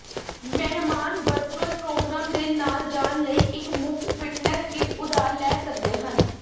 ਮਹਿਮਾਨ virtual programme ਦੇ ਨਾਲ ਜਾਣ ਲਈ ਇੱਕ ਮੁਫਤ ਫਿਟਨੈਸ ਕਿੱਟ ਉਧਾਰ ਲੈ ਸਕਦੇ ਹਨ